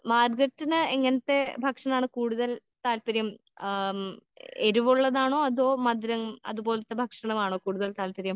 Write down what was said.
മാരിതെത്തിന് എങ്ങനത്തെ ഭക്ഷണം കഴിക്കാൻ ആണ് താല്പര്യം കൂടുതൽ. ഏഹ് എരിവുള്ളതാണോ അതോ മധുരം അതുപോലത്തെ ഭക്ഷണം ആണോ കൂടുതൽ താല്പര്യം.